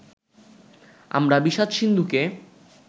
আমরা বিষাদ-সিন্ধুকে